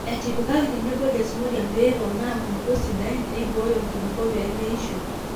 etipikaki tenebo desmodium pee eponaa nkulupuok sidain neibooyo enkulupuok pee meisho